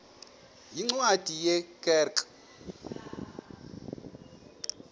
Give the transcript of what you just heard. yeencwadi ye kerk